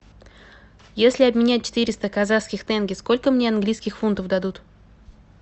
если обменять четыреста казахских тенге сколько мне английских фунтов дадут